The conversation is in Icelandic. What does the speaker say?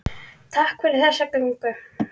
Takk fyrir þessa göngu.